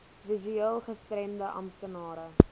visueel gestremde amptenare